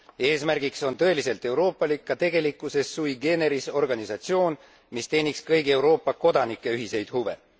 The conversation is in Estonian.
Eesmärgiks on tõeliselt euroopalik, ka tegelikkuses sui generis organisatsioon, mis teeniks kõigi Euroopa kodanike ühiseid huve.